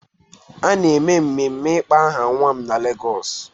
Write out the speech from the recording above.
A na-eme mmemme ịkpọ aha nwa m na Lagos